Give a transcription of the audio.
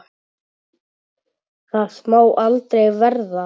Það má aldrei verða.